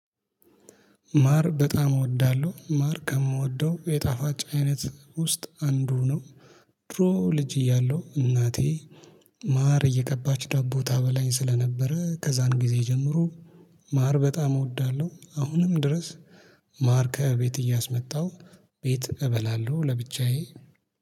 ማር በጣም እወዳለሁ ማር ከምወደው የጣፋጭ አይነት ውስጥ አንዱ ነው። ድሮ ልጅ እያለሁ እናቴ ማር እየቀባች ዳቦ ታበላኝ ስለነበረ ከዛን ጊዜ ጀምሮ። ማር በጣም እወዳለሁ አሁንም ድረስ። ማር ከቤት እያስመጣሁ ቤት እበላለሁ ለብቻዬ